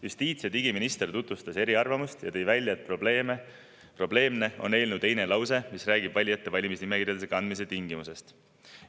Justiits‑ ja digiminister tutvustas eriarvamust ja tõi välja, et probleemne on eelnõu teine lause, mis räägib valijate valimisnimekirjadesse kandmise tingimustest.